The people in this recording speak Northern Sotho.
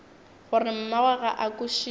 gore mmagwe ga a kwešiše